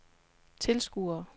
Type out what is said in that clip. tilskuere